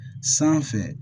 Sanfɛ